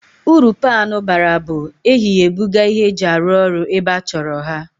Uru paanụ bara bụ, ehi ya ebuga ihe eji arụ orụ ebe achọrọ ha